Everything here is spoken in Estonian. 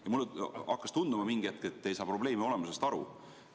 Ja mulle hakkas mingi hetk tunduma, et te ei saa probleemi olemusest aru.